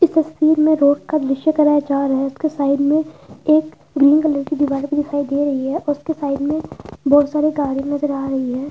इस तस्वीर में रोड का दृश कराया जा रहा है। उसके साइड में एक ग्रीन कलर की दीवार भी दिखाई दे रही है। उसके साइड में बहुत सारे कारें नजर आ रही हैं।